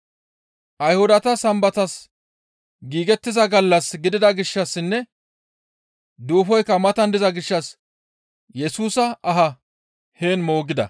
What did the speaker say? Ayhudata sambatas giigettiza gallas gidida gishshassinne duufoykka matan diza gishshas Yesusa aha heen moogida.